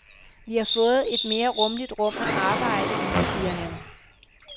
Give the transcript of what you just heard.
Vi har fået et mere rummeligt rum at arbejde i siger han.